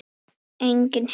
Enginn her.